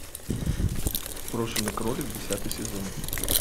брошенный кролик десятый сезон